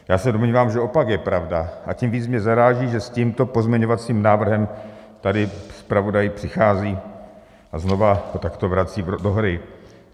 Já se domnívám, že opak je pravdou, a tím víc mě zaráží, že s tímto pozměňovacím návrhem tady zpravodaj přichází a znovu to takto vrací do hry.